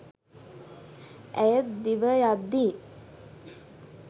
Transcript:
ඇය දිවයද්දී